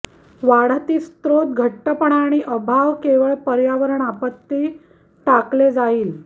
वाढती स्त्रोत घट्टपणा आणि अभाव केवळ पर्यावरण आपत्ती टाकले जाईल